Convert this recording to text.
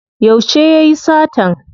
Yauce yayi satan?